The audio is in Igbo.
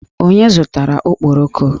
Onye zụtara okporoko?